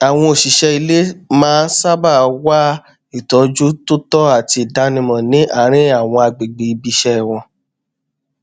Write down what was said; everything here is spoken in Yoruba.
àwọn òṣìṣẹ ilé maá n sábà wá ìtọjú tó tọ àti ìdánimọ ní àárín àwọn agbègbè ibi iṣẹ wọn